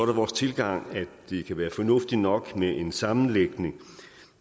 det vores tilgang at det kan være fornuftigt nok med en sammenlægning